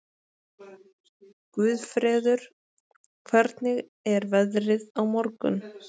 Guðfreður, hvernig er veðrið á morgun?